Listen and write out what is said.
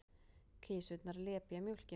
Kisurnar lepja mjólkina.